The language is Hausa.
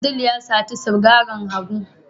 Abdul ya sata sigarin Abu.